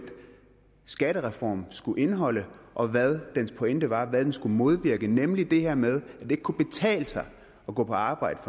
skattereform skulle indeholde og hvad dens pointe var altså hvad den skulle modvirke nemlig det her med at mennesker ikke kunne betale sig at gå på arbejde